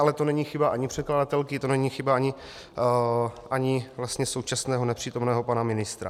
Ale to není chyba ani předkladatelky, to není chyba ani současného nepřítomného pana ministra.